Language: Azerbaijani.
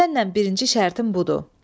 Səninlə birinci şərtim budur.